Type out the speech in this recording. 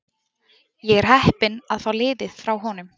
Ég er heppinn að fá liðið frá honum.